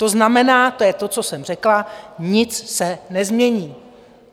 To znamená, to je to, co jsem řekla - nic se nezmění.